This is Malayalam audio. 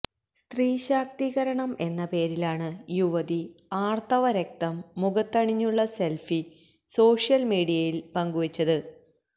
സ്ത്രീ ശാക്തീകരണം എന്ന പേരിലാണ് യുവതി ആര്ത്തവ രക്തം മുഖത്തണിഞ്ഞുള്ള സെല്ഫി സോഷ്യല് മീഡിയയില് പങ്കുവെച്ചത്